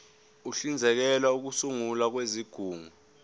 uhlinzekela ukusungulwa kwezigungu